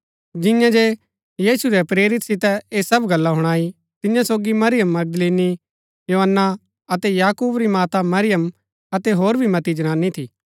जियें जे यीशु रै प्रेरिता सितै ऐह सब गल्ला हुणाई तियां सोगी मरियम मगदलीनी योअन्ना अतै याकूब री माता मरियम अतै होर भी मती जनानी थी